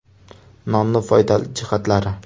Nonning foydali jihatlari.